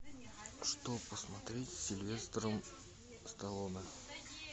что посмотреть с сильвестром сталлоне